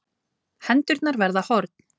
Hendurnar verða horn.